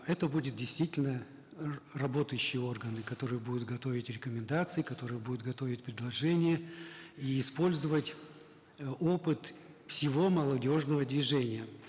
это будут действительно работающие органы которые будут готовить рекомендации которые будут готовить предложения и использовать э опыт всего молодежного движения